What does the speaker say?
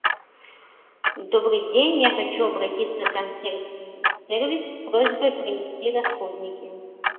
добрый день я хочу обратиться в консьерж сервис с просьбой принести расходники